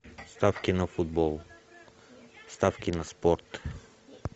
ставки на футбол ставки на спорт